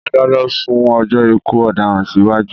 Adájọ́ sún ọjọ́ ikú ọdaràn sí wájú